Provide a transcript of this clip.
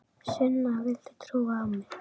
Sunna, viltu trúa á mig?